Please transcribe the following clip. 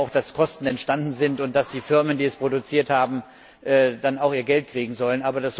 Denn ich sehe ja auch, dass Kosten entstanden sind und dass die Firmen, die dies produziert haben, auch ihr Geld kriegen sollen.